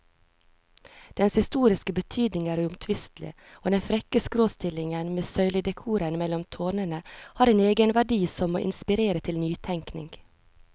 Dens historiske betydning er uomtvistelig, og den frekke skråstillingen med søyledekoren mellom tårnene har en egenverdi som må inspirere til nytenkning.